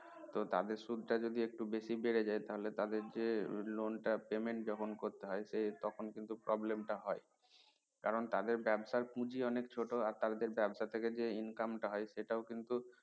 তো তাদের সুদ টা যদি একটু বেশি বেড়ে যায় তাহলে তাদের যে loan টা payment যখন করতে হয় তখন কিন্তু prablem টা হয় কারন তাদের ব্যাবসার পুঁজি অনেক ছোট আর তাদের আর তাদের ব্যাবসার থেকে যে income টা হয় সেটা কিন্তু